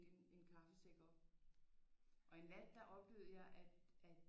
En kaffesæk op og en nat der oplevede jeg at at